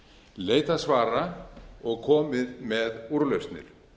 leitað svara og komið með úrlausnir